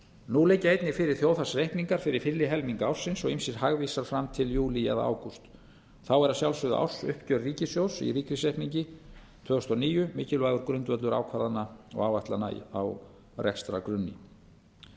nú liggja einnig fyrir þjóðhagsreikningar fyrir fyrri helming ársins og ýmsir hagvísar fram til júlí eða ágúst þá er að sjálfsögðu ársuppgjör ríkissjóðs í ríkisreikningi tvö þúsund og níu mikilvægur grundvöllur ákvarðana og áætlana á rekstrargrunni